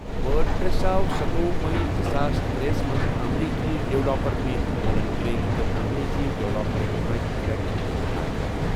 وٲڈ press آو ستوۄہُ May زٕ ساس ترٛیس منٛز امریكی ڈیولاپر میٹ مولن ویگ تہٕ انگریزی ڈیولاپر مائیک لٹل دٟسۍ شایع کَرنہٕ۔